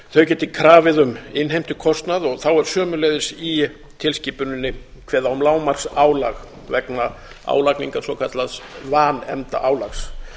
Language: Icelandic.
þau geti krafið um innheimtukostnað og þá er sömuleiðis í tilskipuninni kveðið á um lágmarksálag vegna álagningar svokallaðs vanefndaálags